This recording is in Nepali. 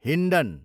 हिन्डन